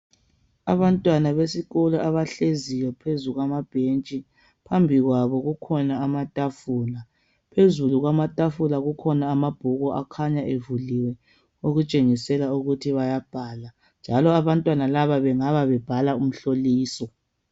Abantwana besikolo abahleziyo phezu kwamabhetshi phambi kwabo kukhona amatafula phezulu kwamatafula kukhona amabhuku akhanya evuliwe okutshengisela ukuthi bayabhala njalo abantwana laba bengabe bebhala umhloliso.